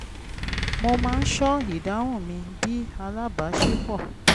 mo má ń ṣọ́ ìdáhùn mi bí alábaṣípọ̀